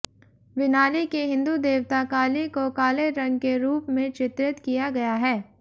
विनाली के हिंदू देवता काली को काले रंग के रूप में चित्रित किया गया है